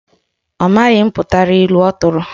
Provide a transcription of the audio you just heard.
Ọ maghị mputara ilu ọ tụrụ